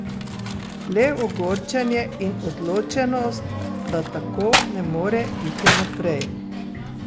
Le ogorčenje in odločenost, da tako ne more iti naprej.